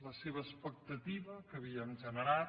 la seva expectativa que havíem generat